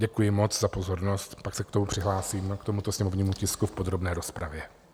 Děkuji moc za pozornost, pak se k tomu přihlásím, k tomu sněmovnímu tisku v podrobné rozpravě.